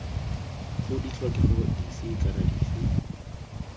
g ditlhokego dife kana dife